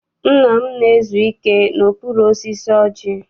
Nna m na-ezu ike n'okpuru osisi ọjị.